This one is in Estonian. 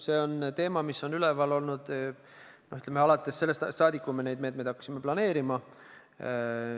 See on teema, mis on üleval olnud sellest ajast saadik, kui me neid meetmeid hakkasime planeerima.